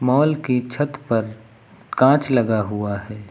Mall की छत पर कांच लगा हुआ है।